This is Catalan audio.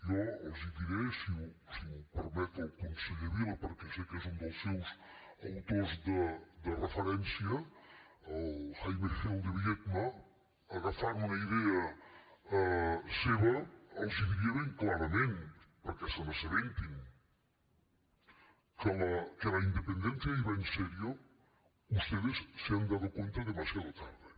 jo els diré si m’ho permet el conseller vila perquè sé que és un dels seus autors de referència el jaime gil de biedma agafant una idea seva els ho diria ben clarament perquè se n’assabentin que la independencia iba en serio ustedes se han dado cuenta demasiado tarde